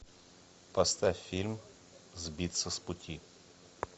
поставь фильм сбиться с пути